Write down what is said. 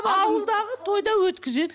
ауылдағы тойда өткізеді